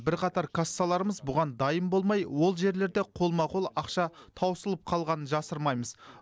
бірқатар кассаларымыз бұған дайын болмай ол жерлерде қолма қол ақша таусылып қалғанын жасырмаймыз